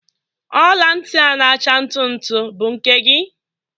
Ọla ntị a na-acha ntu ntu bụ nke gị?